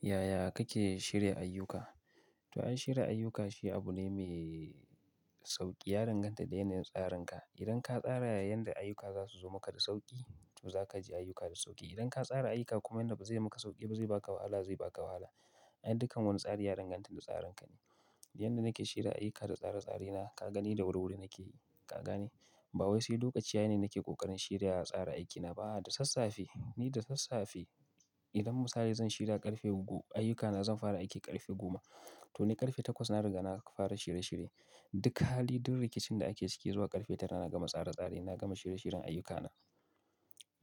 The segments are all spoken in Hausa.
Yaya kake shirya ayyuka? To ai shirya ayyuka shi abune mai sauki ya danganta da yanayin sarinka idan ka sara yanda ayyuka zasu zo maka da sauki to zaka ji ayyuka da suki idan ka sara ayyuka kuma yanda bazai maka sauki zai ba ka wahala zai baka wahala. Ai dukkan wani tsari ya danganta da tsarinka ne. Yanda nake shirya aiki da tsare-tsare na, ka gani da wuri-wuri nake, ka gane? Ba wai sai lokaci ya yi ne nake ƙoƙarin shirya tsara aikina ba, a'a da sassafe. Ni da sassafe idan misali zan shirya ƙarfe uku ayyukana zan fara aiki ƙarfe goma to ni ƙarfe takwas na riga na fara shirye-shirye. Duk hali, duk rikicin da ake ciki zuwa ƙarfe tara na gama tsare-tsare, na gama shirye-shiryen ayyukana.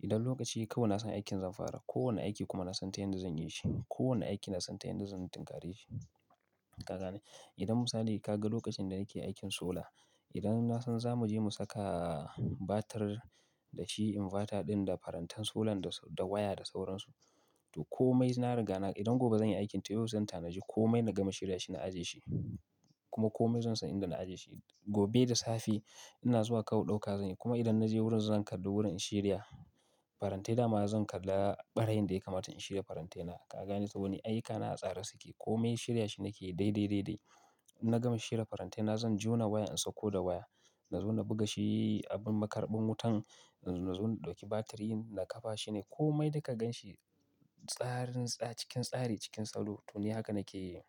Idan lokaci ya yi kawai na san aikin zan fara. Ko wanne aiki kuma na san ta yanda zan yi shi. Ko wanne aiki na san ta yanda zan tinkari shi. Ka gane? Idan misali ka ga lokacin da nake aikin sola, idan na san za mu je mu saka batir da shi inverter ɗin da farantan solan da waya da sauransu, to komai na riga na, idan gobe zan yi aikin to yau zan ta na di komai na gama shirya shi na ajiye shi. Kuma komai zan san inda na ajiye shi. Gobe da safe ina zuwa kawai ɗauka zan yi. Kuma idan na je wurin zan kalli wurin in shirya. Farantai da ma zan kalla ɓarayin da ya kamata in shirya farantai na. Ka gane? Saboda ni ayyuka na a tsare suke. Komai shirya shi nake yi daidai, daidai. Inna gama shirya farantai na zan jona waya in sokko da waya. Na zo na buga shi abin makarɓin wutan. Na zo na ɗauki batirin na kafa shi ne. Komai da ka ganshi tsarin tsa cikin tsari cikin salo to ni haka nake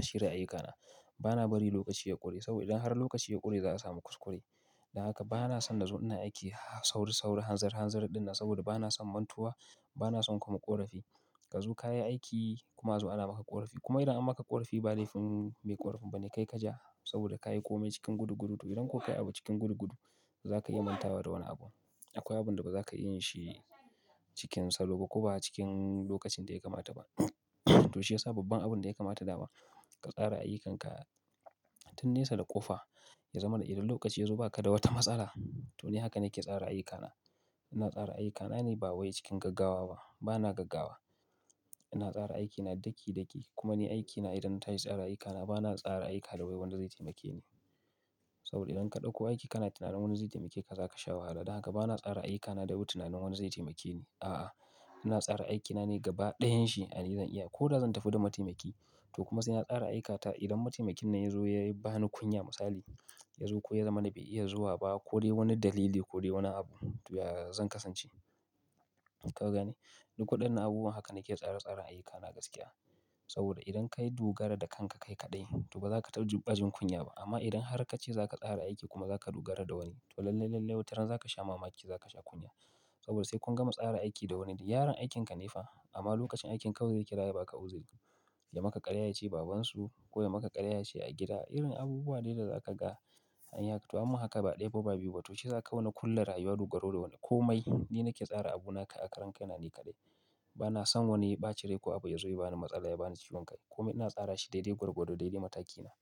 shirya ayyukana. Ba na bari lokaci ya ƙure saboda idan har lokaci ya ƙure za a samu kuskure. Don haka ba na son na zo ina aiki sauri-sauri, hanzari-hanzari ɗin nan saboda ba na son mantuwa, ba na son kuma ƙorafi. Ka zo ka yi aiki kuma azu ana maka ƙorafi. Kuma idan an maka ƙorafi ba laifin mai ƙorafin ba ne kai ka ja saboda ka yi komai cikin gudu-gudu to idan ko kai abu cikin gudu-gudu zaka iya manta da wani abu. Akwai abun da ba za ka iya yin shi cikin salo ba ko ba cikin lokacin da ya kamata ba. To shi ya sa babban abun da ya kamata da ma ka tsara ayyukanka tun nesa da ƙofa ya zama da idan lokaci ya zo ba ka da wata matsala to ni hakan yake tsara ayyukana. Ina tsara ayyukana ne ba wai cikin gaggawa ba. Ba na gaggawa. Ina tsara aikina daki-daki. Kuma ni aikina idan na tashi tsara aikana ba na tsara aiki da wai wani zai taimake ni. Saboda idan ka ɗauko aiki kana tunanin wanda zai taimake ka za ka sha wahala. Don haka ba na tsara ayyukana da wai tunanin wani zai taimake ni. A'a, ina tsara aikina ne gaba ɗayan shi, ai ni zan iya ko da zan tafi da mataimaki to kuma sai na tsara aikata idan mataimakin na ya zo ya ba ni kunya misali, ya zo ko ya zama na bai iya zuwa ba ko dai wani dalili ko dai wani abu to yaya zan kasance. Ka gane? Ni koɗan na abubuwa haka nake tsare-tsaren ayyukana gaskiya. Saboda idan ka yi dogara da kanka kai kaɗai to ba za ka tarba jin kunya ba. Amma idan har ka ce za ka tsara aiki kuma za ka dogara da wani to lallai, lallai wataran za ka sha mamaki, za ka sha kunya. Saboda sai kun gama tsara aiki da wani yaron aikinka ne fa amma lokacin aikin kawai zai kira yaba ka uziri. Ya maka ƙarya ya ce babansu ko ya maka ƙarya ya ce a gida irin abubuwa ne da za ka ga an yi haka. To ammu haka ba ɗaya ba ba biyu ba to shi ya sa kawai na ƙulla rayuwa dogaro da wani. Komai ni nake tsara abuna kai a karan kai na ne kaɗai. Ba na san wani ya ɓaci rai ko abu ya zo ya bani matsala ya bani ciwon kai. Komai ina tsara shi daidai gwargwado, daidai matakina.